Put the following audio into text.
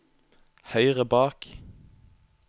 høyre bak